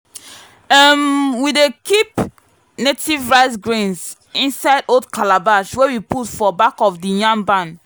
um we dey keep native rice grains inside old calabash wey we put for back of the yam barn.